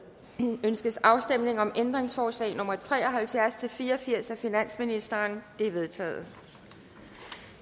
ønskes afstemning om ændringsforslag nummer tre og halvfjerds til fire og firs af finansministeren de er vedtaget